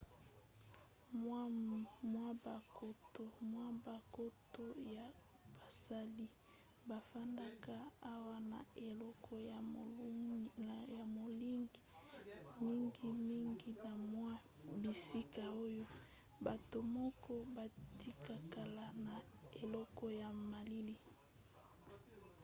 mwa bankoto ya basali bafandaka awa na eleko ya molunge mingimingi na mwa bisika oyo; bato moke batikalaka na eleko ya malili